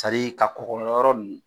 Sadi ka kɔgɔ yɔrɔ nunnu